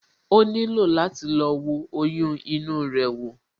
O nílò láti lọ wo oyún inú rẹ wò